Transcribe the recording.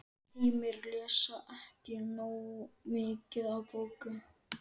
Heimir: Lesa ekki nógu mikið af bókum?